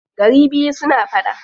Gari biyu suna faɗa.